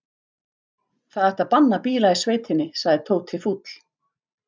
Það ætti að banna bíla í sveitinni sagði Tóti fúll.